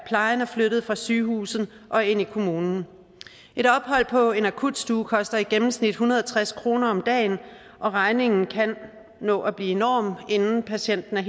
flyttet fra sygehuset og ind i kommunen et ophold på en akutstue koster i gennemsnit en hundrede og tres kroner om dagen og regningen kan nå at blive enorm inden patienten er